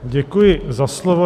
Děkuji za slovo.